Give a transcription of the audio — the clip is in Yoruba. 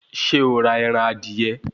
Ṣé o ra ẹran adìyẹ